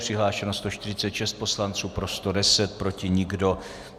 Přihlášeno 146 poslanců, pro 110, proti nikdo.